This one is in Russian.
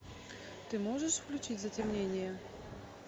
ты можешь включить затемнение